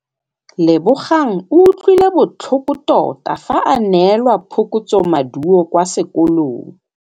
Lebogang o utlwile botlhoko tota fa a neelwa phokotsômaduô kwa sekolong.